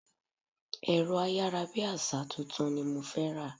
Ẹ̀rọ ayárabíàṣá tuntun ni mo fẹ́ rà.